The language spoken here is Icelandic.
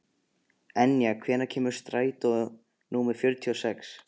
Enja, hvenær kemur strætó númer fjörutíu og sex?